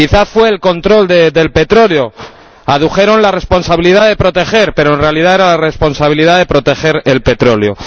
¿Quizás fue el control de petróleo? Adujeron la responsabilidad de proteger pero, en realidad, era la responsabilidad de proteger el petróleo.